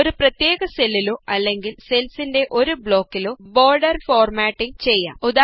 ഒരു പ്രത്യേക സെല്ലിലോ അല്ലങ്കില് സെല്സിന്റെ ഒരു ബ്ലോക്കിലോ ബോർഡർ ഫോർമാറ്റിങ് ചെയ്യാം